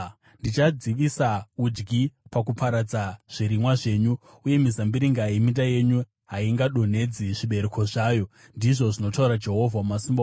Ndichadzivisa udyi pakuparadza zvirimwa zvenyu, uye mizambiringa yeminda yenyu haingadonhedzi zvibereko zvayo,” ndizvo zvinotaura Jehovha Wamasimba Ose.